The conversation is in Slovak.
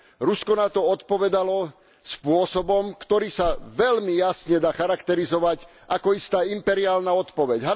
Rusko na to odpovedalo spôsobom, ktorý sa veľmi jasne dá charakterizovať ako istá imperiálna odpoveď.